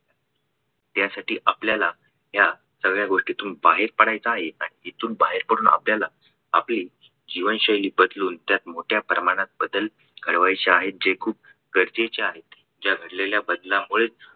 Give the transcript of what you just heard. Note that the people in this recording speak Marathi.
यासाठी आपल्याला या सगळ्या गोष्टीतून बाहेर पडायचा आहे. इथून बाहेर पडून आपल्याला आपली जीवनशैली बदलून त्यात मोठ्या प्रमाणात बदल घडवायचे आहेत जे खूप गरजेचे आहेत. या घडलेल्या बदलांमुळे